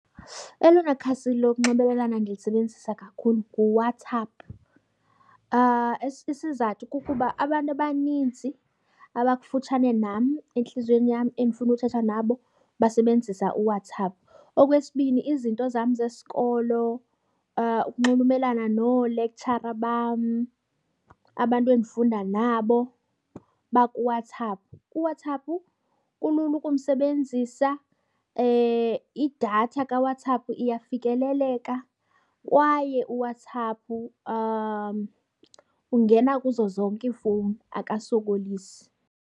Elona khasi lokunxibelelana ndilisebenzisa kakhulu nguWhatsApp. Isizathu kukuba abantu abaninzi abakufutshane nam entliziyweni yam, endifuna uthetha nabo basebenzisa uWhatsApp. Okwesibini izinto zam zesikolo ukunxulumelana noolektshara bam, abantu endifunda nabo bakuWhatsApp. UWhatsApp kulula ukumsebenzisa idatha kaWhatsApp iyafikeleleka kwaye uWhatsApp ungena kuzo zonke iifowuni, akasokolisi.